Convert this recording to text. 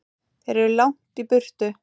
Þeir eru langt í burtu.